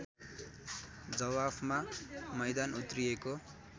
जवाफमा मैदान उत्रिएको